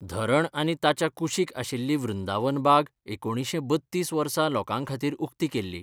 धरण आनी ताच्या कुशीक आशिल्ली वृंदावन बाग एकुणीशें बत्तीस वर्सा लोकांखातीर उक्ती केल्ली.